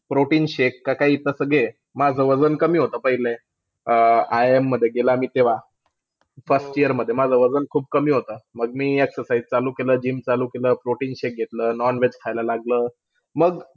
Protein shake का काय काई तसा घे. माझं वजन कमी होतं पाहिलं. IIM मध्ये गेला मी तेव्हा. त्याचं year मध्ये माझं वजन खूप कमी होतं. मग मी exercise चालू केलं, GYM चालू केलं. Protein shake घेतलं. Non-veg खायला लागलो. मग,